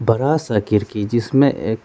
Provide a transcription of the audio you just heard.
बरा सा खिरकी जिसमें एक--